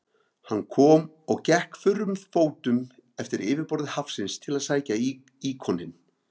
Hann kom og gekk þurrum fótum eftir yfirborði hafsins til að sækja íkoninn.